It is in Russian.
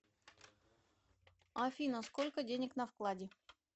афина сколько денег на вкладе